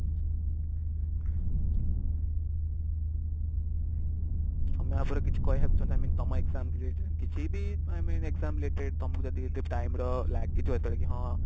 ତମେ ୟା ଉପରେ କିଛି କହିବାକୁ ଚାହୁଁଛ i mean ତମ exam ବିଷୟରେ କିଛି ବି i mean exam related ତମକୁ ଯଦି time ର ଲାଗିଥିବ ଯେତେବେଳେ କି ହଁ